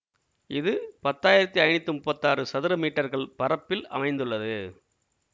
இது பத்து ஆயிரத்தி ஐநூத்தி முப்பத்தாறு சதுர மீட்டர்கள் பரப்பில் அமைந்துள்ளது